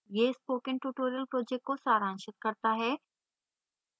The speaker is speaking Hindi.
यह spoken tutorial project को सारांशित करता है